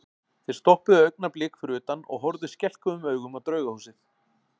Þeir stoppuðu augnablik fyrir utan og horfðu skelkuðum augum á Draugahúsið.